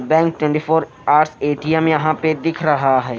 Bank twenty four hours ATM यहां पे दिख रहा है।